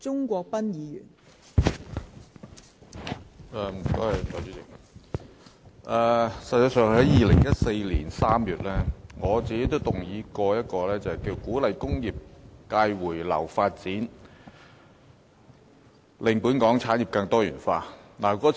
代理主席，我在2014年3月也曾動議一項題為"鼓勵工業界回流發展，令本港產業更多元化"的議案。